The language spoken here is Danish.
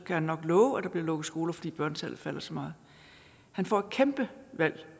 kan han nok love at der bliver lukket skoler fordi børnetallet falder så meget han får et kæmpe valg